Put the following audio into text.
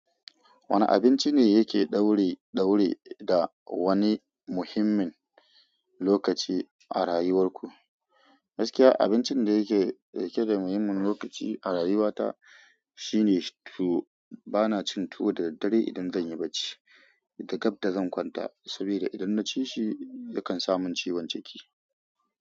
Wane abinci ne yake daure da wani muhimmin lokaci a rayuwar ku? Gaskiya abincin da yake da muhimmin lokaci a rayuwata shine tuwo. Bana cin tuwo da daddare idan zan yi barci da gab da zan kwanta, sabida idan na ci shi yakan samun ciwon ciki.